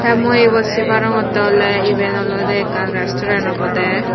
mui ebot sei parongotte oley eben oley ekkan restoren obowdey.